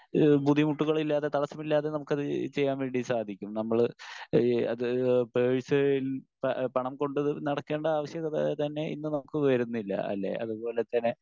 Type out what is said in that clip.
Speaker 1 ഏഹ് ബുദ്ധിമുട്ടുകളില്ലാതെ തടസ്സമില്ലാതെ നമുക്ക് അത് ചെയ്യാൻ വേണ്ടി സാധിക്കും. നമ്മള് ഏഹ് അത് പേഴ്സിൽ പണം കൊണ്ടുനടക്കേണ്ട ആവശ്യകത തന്നെ ഇന്ന് നമുക്ക് വരുന്നില്ല അല്ലേ? അതുപോലെതന്നെ